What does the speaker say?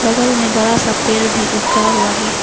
बगल में बड़ा सा पेड़ भी उगा हुआ है।